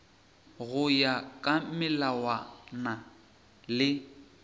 go ya ka melawana le